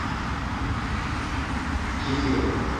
кефир